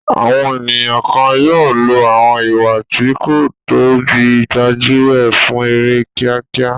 Àwọn ènìyàn kan yóò lo àwọn ìwà tí kò tọ́ bíi gbájú ẹ̀ fún èrè kíákíá.